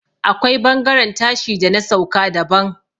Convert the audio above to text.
akwai bangaren tashi da na sauka daban